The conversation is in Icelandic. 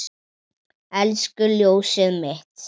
Elsku ljósið mitt.